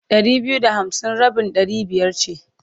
Ɗari biyu da hamsin rabin ɗari biyar ce.